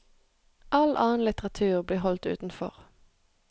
All annen litteratur blir holdt utenfor.